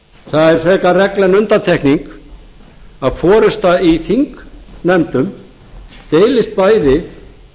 það er frekar regla en undantekning að forusta í þingnefndum deilist bæði